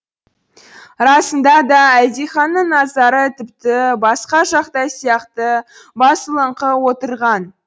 расында да әлдиханның назары тіпті басқа жақта сияқты басылыңқы отырған